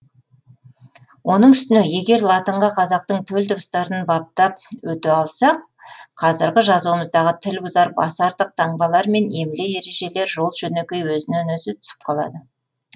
оның үстіне егер латынға қазақтың төл дыбыстарын баптап өте алсақ қазіргі жазуымыздағы тіл бұзар басы артық таңбалар мен емле ережелер жол жөнекей өзінен өзі түсіп қалады